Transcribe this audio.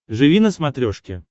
живи на смотрешке